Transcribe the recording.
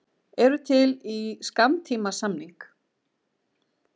Eru til í skammtímasamning